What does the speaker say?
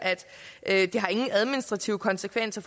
at det ingen administrative konsekvenser